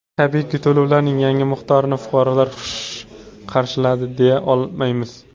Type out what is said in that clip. Tabiiyki, to‘lovlarning yangi miqdorini fuqarolar xush qarshiladi, deya olmaymiz.